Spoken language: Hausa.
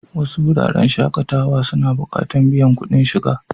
Wasu wuraren shakatawa suna buƙatan biyan kuɗin shiga.